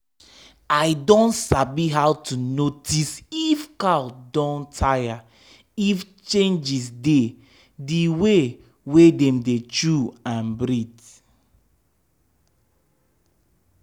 i don sabi how to notice if cow don tire if changes dey d way wey dem dey chew and breathe.